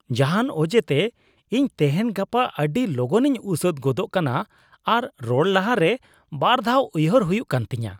ᱡᱟᱦᱟᱱ ᱚᱡᱮᱛᱮ, ᱤᱧ ᱛᱮᱦᱮᱧ ᱜᱟᱯᱟ ᱟᱹᱰᱤ ᱞᱚᱜᱚᱱᱤᱧ ᱩᱥᱟᱹᱫ ᱜᱚᱫᱚᱜ ᱠᱟᱱᱟ ᱟᱨ ᱨᱚᱲ ᱞᱟᱦᱟᱨᱮ ᱵᱟᱨ ᱫᱷᱟᱣ ᱩᱭᱦᱟᱹᱨ ᱦᱩᱭᱩᱜ ᱠᱟᱱ ᱛᱤᱧᱟᱹ ᱾